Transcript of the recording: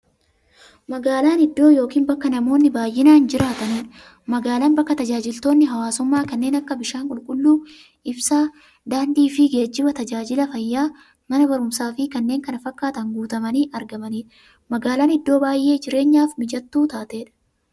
Magaalan iddoo yookiin bakka namoonni baay'inaan jiraataniidha. Magaalan bakka taajajilootni hawwaasummaa kanneen akka; bishaan qulqulluu, ibsaa, daandiifi geejjiba, taajajila fayyaa, Mana baruumsaafi kanneen kana fakkatan guutamanii argamaniidha. Magaalan iddoo baay'ee jireenyaf mijattuu taateedha.